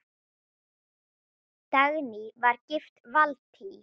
Dagný var gift Valtý.